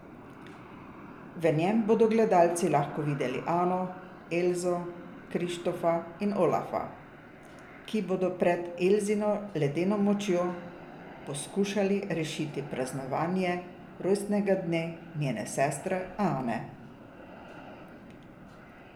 V njem bodo gledalci lahko videli Ano, Elzo, Krištofa in Olafa, ki bodo pred Elzino ledeno močjo poskušali rešiti praznovanje rojstnega dne njene sestre Ane.